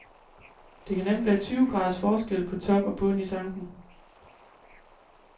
Der kan nemt være tyve graders forskel på top og bund i tanken.